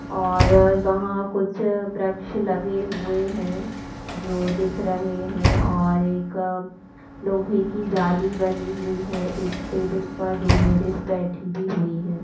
और वहाँ कुछ वृक्ष लगे हुए है जो दिख रहे है और एक लोहे की जाली बनी हुई है एक टेबल पर दो लेडिस बैठी भी हुई है।